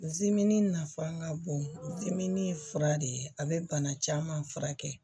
nafa ka bon ye fura de ye a bɛ bana caman furakɛ